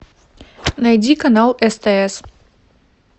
найди канал стс